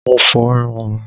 Mo fo irun mí.